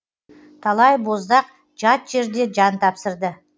талай боздақ жат жерде жан тапсырды